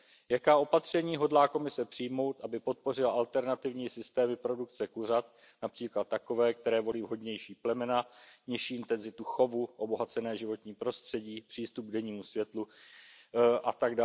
Jaká opatření hodlá Komise přijmout, aby podpořila alternativní systémy produkce kuřat například takové, které volí vhodnější plemena, nižší intenzitu chovu, obohacené životní prostředí, přístup k dennímu světlu atd.